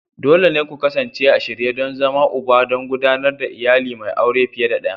Dole ne ku kasance a shirye don zama Uba don gudanar da iyali mai aure fiye da ɗaya.